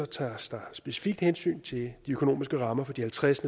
tages der specifikt hensyn til de økonomiske rammer for de halvtreds